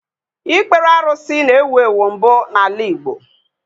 Ikpere arụsị na-ewu ewu mbụ n'ala Igbo